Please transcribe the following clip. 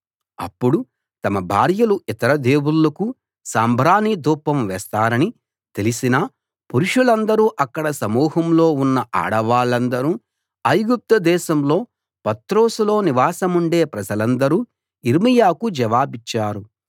అప్పుడు తమ భార్యలు ఇతర దేవుళ్ళకు సాంబ్రాణి ధూపం వేస్తారని తెలిసిన పురుషులందరూ అక్కడ సమూహంలో ఉన్న ఆడవాళ్ళందరూ ఐగుప్తు దేశంలో పత్రోసులో నివాసముండే ప్రజలందరూ యిర్మీయాకు జవాబిచ్చారు